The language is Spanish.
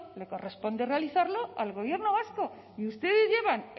le corresponde realizarla al gobierno vasco y ustedes llevan